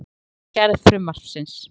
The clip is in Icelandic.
Ekki frekara samráð um gerð frumvarpsins